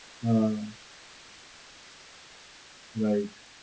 હાં, right.